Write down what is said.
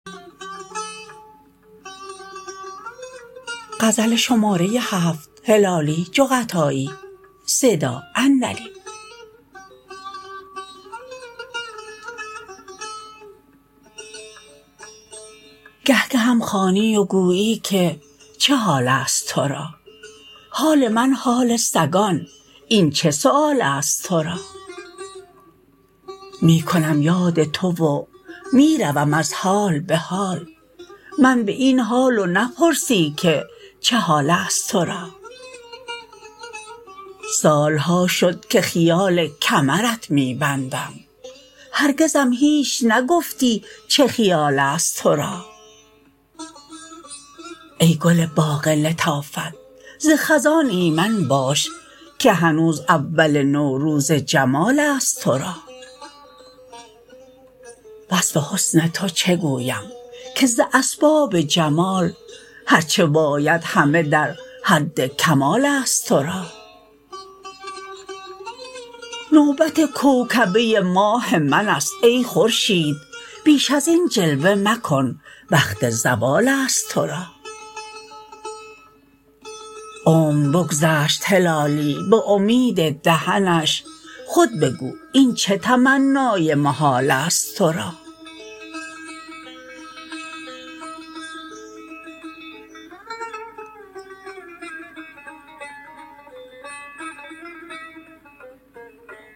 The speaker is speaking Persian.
گه گهم خوانی و گویی که چه حالست ترا حال من حال سگان این چه سؤالست ترا می کنم یاد تو و میروم از حال بحال من باین حال و نپرسی که چه حالست ترا سالها شد که خیال کمرت می بندم هرگزم هیچ نگفتی چه خیالست ترا ای گل باغ لطافت ز خزان ایمن باش که هنوز اول نوروز جمالست ترا وصف حسن تو چه گویم که ز اسباب جمال هر چه باید همه در حد کمالست ترا نوبت کوکبه ماه منست ای خورشید بیش ازین جلوه مکن وقت زوالست ترا عمر بگذشت هلالی بامید دهنش خود بگو این چه تمنای محالست ترا